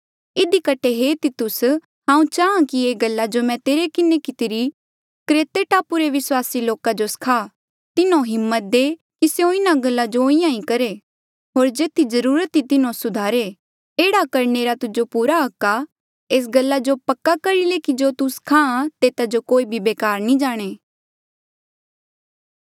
इधी कठे हे तितुस हांऊँ चाहां कि ये गल्ला जो मैं तेरे किन्हें कितिरी क्रेते टापू रे विस्वासी लोका जो सखा तिन्हो हिम्मत दे कि स्यों इन्हा गल्ला जो इंहां ही करहे होर जेथी जरूरत ई तिन्हो सुधारे एह्ड़ा करणे रा तुजो पूरा हक आ एस गल्ला जो पक्का करी ले कि जो तू सखा तेता जो कोई बेकार नी जाणे